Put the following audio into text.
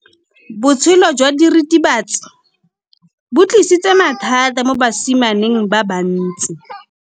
Botshelo jwa diritibatsi ke bo tlisitse mathata mo basimaneng ba bantsi.